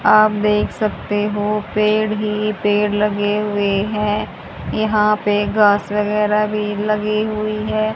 आप देख सकते हो पेड़ ही पेड़ लगे हुए हैं यहां पे घास वगैरा भी लगी हुई है।